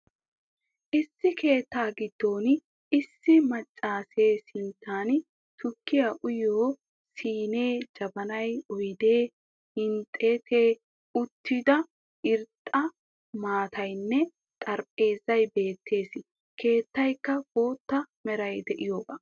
Issi keettaa giddon issi maccasee sinttan tukkiya uyiyo siinee, jabanay, oydee, hiixxetti uttida irxxa maataynne xarphpheezay beettees. Keettaykka bootta meray de'iyoga.